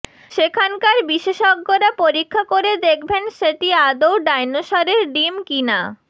সেখানকার বিশেষজ্ঞরা পরীক্ষা করে দেখবেন সেটি আদৌ ডাইনোসরের ডিম কিনা